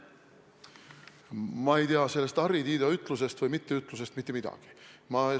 Ma ei tea sellest Harri Tiido ütlusest mitte midagi.